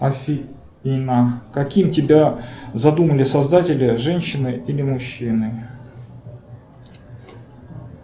афина каким тебя задумали создатели женщиной или мужчиной